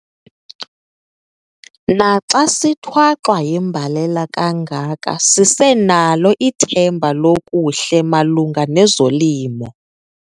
Naxa sithwaxwa yimbalele kangaka sisenalo ithemba lokuhle malunga nezolimo.